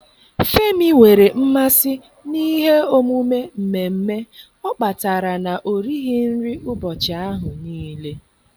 Femi nwere mmasị n'ihe omume mmemme ọ kpatara na-orighị nri ụbọchị ahụ niile.